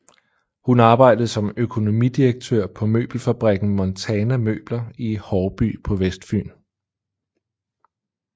Hun arbejdede som økonomidirektør på møbelfabrikken Montana Møbler i Haarby på Vestfyn